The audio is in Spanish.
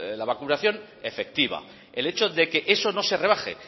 la vacunación efectiva el hecho de que eso no se rebaje